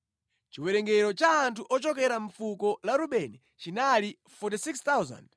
Chiwerengero cha anthu ochokera mʼfuko la Rubeni chinali 46,500.